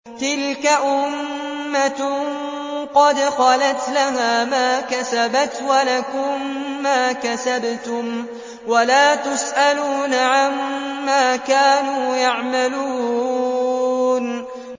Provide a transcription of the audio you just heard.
تِلْكَ أُمَّةٌ قَدْ خَلَتْ ۖ لَهَا مَا كَسَبَتْ وَلَكُم مَّا كَسَبْتُمْ ۖ وَلَا تُسْأَلُونَ عَمَّا كَانُوا يَعْمَلُونَ